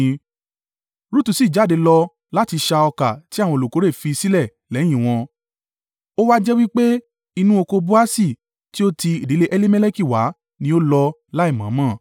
Rutu sì jáde lọ láti ṣá ọkà tí àwọn olùkórè fi sílẹ̀ lẹ́yìn wọn. Ó wá jẹ́ wí pé inú oko Boasi tí ó ti ìdílé Elimeleki wá ni ó lọ láìmọ̀-ọ́n-mọ̀.